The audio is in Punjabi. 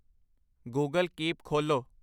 ਗੂਗਲ ਕੀਪ ਖੋਲ੍ਹੋ